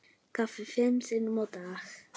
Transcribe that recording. Kaffi fimm sinnum á dag.